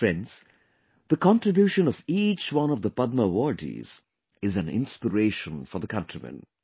Friends, the contribution of each one of the Padma Awardees is an inspiration for the countrymen